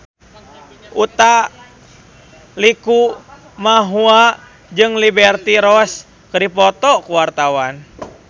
Utha Likumahua jeung Liberty Ross keur dipoto ku wartawan